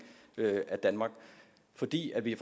af danmark fordi vi